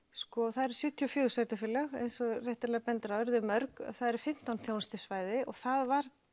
það eru sjötíu og fjögur sveitarfélög eins og þú réttilega bendir á eru þau mörg það eru fimmtán þjónustusvæði og það var